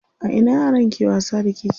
A ina yaran ke wasa da keke?